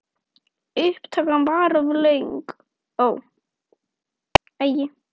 Annars stefni í óefni.